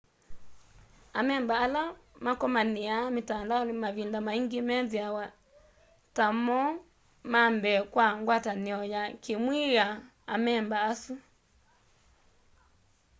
amemba ala makomaniaa mitandaoni mavinda maingi methiawa ta mo mambee kwa ngwatanio ya kiimwii ya amemba asu